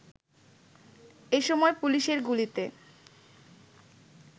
এ সময় পুলিশের গুলিতে